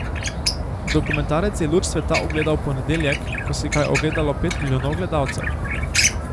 Dokumentarec je luč sveta ugledal v ponedeljek, ko si ga je ogledalo pet milijonov gledalcev.